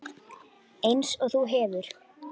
Einsog þú hefur.